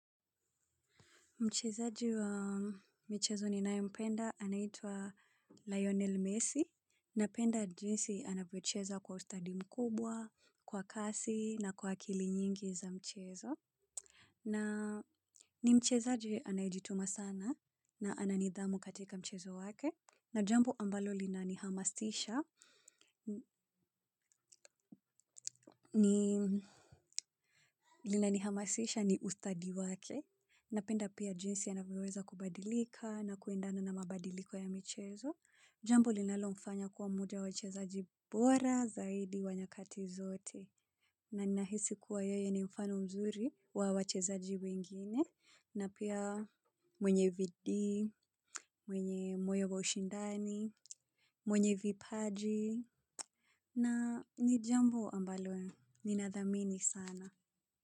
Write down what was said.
Mchezaji wa mchezo ninae mpenda, anaitwa Lionel Messi, napenda jinsi anavyocheza kwa ustadi mkubwa, kwa kasi, na kwa akili nyingi za mchezo. Na ni mchezaji anayejituma sana, na ananidhamu katika mchezo wake, na jambo ambalo linanihamasisha ni ustadi wake. Napenda pia jinsi anavyoweza kubadilika na kuendana na mabadiliko ya michezo. Jambo linalo mfanya kuwa mmoja wa wachezaji bora zaidi wa nyakati zote. Na ninahisi kuwa yeye ni mfano mzuri wa wachezaji wengine. Na pia mwenye bidiii, mwenye moyo wa ushindani, mwenye vipaji. Na ni jambo ambalo, ninadhamini sana.